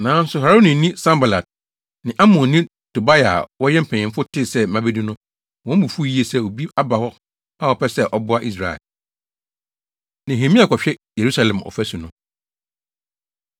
Nanso Haronini Sanbalat + 2.10 Na Sanbalat yɛ amrado wɔ Samaria. ne Amonni Tobia a wɔyɛ mpanyimfo tee sɛ mabedu no, wɔn bo fuw yiye sɛ obi aba hɔ a ɔpɛ sɛ ɔboa Israel. Nehemia Kɔhwɛ Yerusalem Ɔfasu No